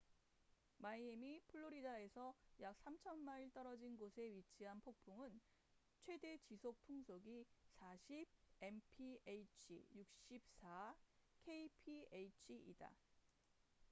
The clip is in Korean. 마이애미 플로리다에서 약 3,000마일 떨어진 곳에 위치한 폭풍은 최대 지속 풍속이 40 mph64 kph이다